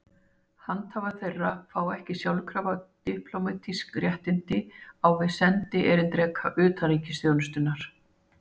Handhafar þeirra fá ekki sjálfkrafa diplómatísk réttindi á við sendierindreka utanríkisþjónustunnar.